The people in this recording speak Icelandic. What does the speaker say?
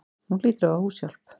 Hún hlýtur að hafa húshjálp.